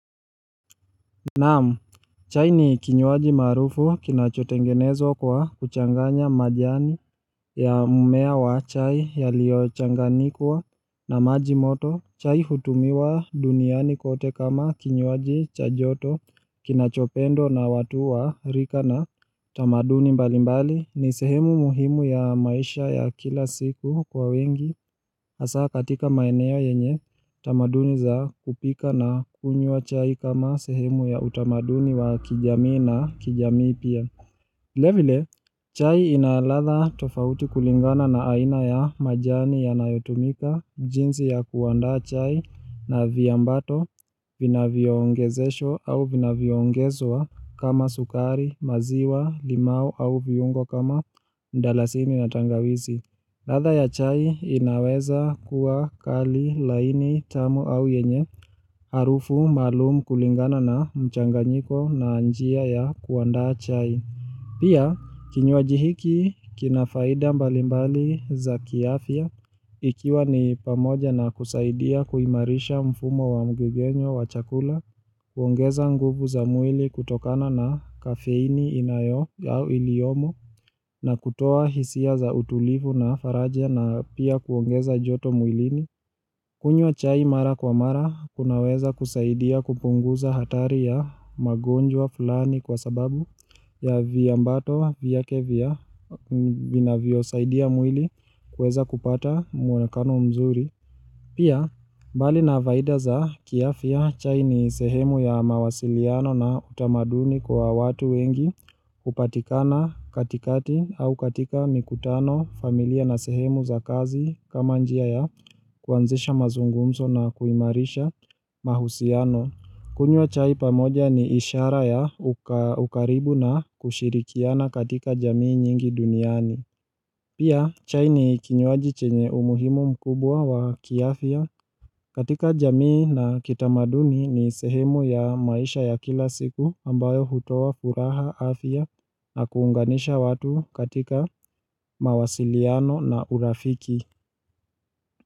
Naam, chai ni kinywaji maarufu kinachotengenezwa kwa kuchanganya majani ya mmea wa chai yaliyochanganikwa na majimoto. Chai hutumiwa duniani kote kama kinywaji cha joto kinachopendwa na watu wa rika na tamaduni mbalimbali. Ni sehemu muhimu ya maisha ya kila siku kwa wengi hasaa katika maeneo yenye tamaduni aa kupika na kunywa chai kama sehemu ya utamaduni wa kijamii na kijamii pia vilevile, chai ina ladha tofauti kulingana na aina ya majani yanayotumika jinsi ya kuandaa chai na viambato Vinavyoongezeshwa au vinaviongezwa kama sukari, maziwa, limau au viungo kama ndalasini na tangawizi. Ladha ya chai inaweza kuwa kali, laini, tamu au yenye, harufu, maalumu kulingana na mchanganyiko na njia ya kuandaa chai. Pia, kinywaji hiki, kina faida mbalimbali za kiafya, ikiwa ni pamoja na kusaidia kuimarisha mfumo wa mgegenyo wa chakula, kuongeza nguvu za mwili kutokana na kafeini inayo au iliyomo na kutoa hisia za utulivu na faraja na pia kuongeza joto mwilini kunywa chai mara kwa mara kunaweza kusaidia kupunguza hatari ya magonjwa fulani kwa sababu ya viambato vyake vya vinavyosaidia mwili kuweza kupata muonekano mzuri Pia, mbali na faida za kiafya chai ni sehemu ya mawasiliano na utamaduni kwa watu wengi hupatikana katikati au katika mikutano familia na sehemu za kazi kama njia ya kuanzisha mazungumzo na kuimarisha mahusiano. Kunywa chai pamoja ni ishara ya ukaribu na kushirikiana katika jamii nyingi duniani. Pia chai ni kinywaji chenye umuhimu mkubwa wa kiafya katika jamii na kitamaduni ni sehemu ya maisha ya kila siku ambayo hutoa furaha afya na kuunganisha watu katika mawasiliano na urafiki.